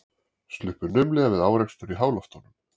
Sluppu naumlega við árekstur í háloftunum